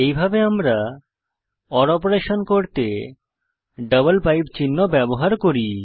এইভাবে আমরা ওর অপারেশন করতে ডাবল পাইপ চিহ্ন ব্যবহার করি